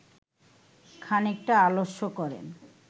খানিকটা আলস্য করেন